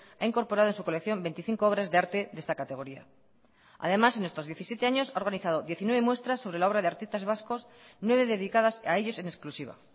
ha incorporado en su colección veinticinco obras de arte de esta categoría además en estos diecisiete años ha organizado diecinueve muestras sobre la obra de artistas vascos nueve dedicadas a ellos en exclusiva